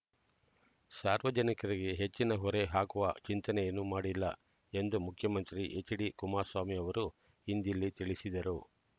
ಸಾರ್ವಜನಿಕರಿಗೆ ಹೆಚ್ಚಿನ ಹೊರೆ ಹಾಕುವ ಚಿಂತನೆಯನ್ನೂ ಮಾ‌ಡಿಲ್ಲ ಎಂದು ಮುಖ್ಯಮಂತ್ರಿ ಹೆಚ್ಡಿ ಕುಮಾರಸ್ವಾಮಿ ಅವರು ಇಂದಿಲ್ಲಿ ತಿಳಿಸಿದರು